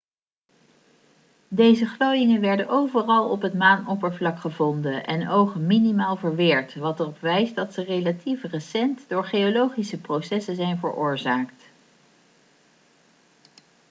deze glooiingen werden overal op het maanoppervlak gevonden en ogen minimaal verweerd wat erop wijst dat ze relatief recent door geologische processen zijn veroorzaakt